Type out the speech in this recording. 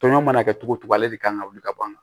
Tɔn mana kɛ cogo o cogo ale de kan ka wuli ka ban